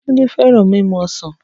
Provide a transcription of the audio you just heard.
Tunde feran mimu osan.